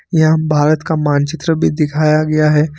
यहां भारत का मानचित्र भी दिखाया गया है।